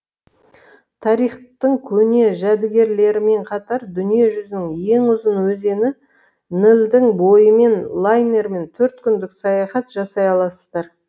тарихтың көне жәдігерлерімен қатар дүние жүзінің ең ұзын өзені нілдің бойымен лайнермен төрт күндік саяхат жасай аласыздар